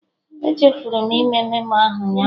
Echefuru m ime memo ahụ ụnyaahụ